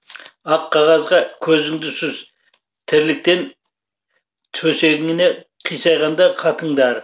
ақ қағазға көзіңді сүз тірліктен төсегіне қисайғанда қатындар